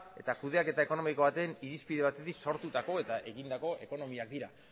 eta kudeaketa ekonomiko baten irizpide batetik sortutako eta egindako ekonomiak dira